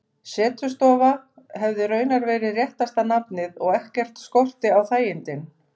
Setustofa hefði raunar verið réttasta nafnið, og ekkert skorti á þægindin.